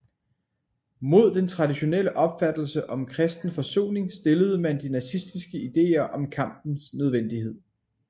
Mod den traditionelle opfattelse om kristen forsoning stillede man de nazistiske idéer om kampens nødvendighed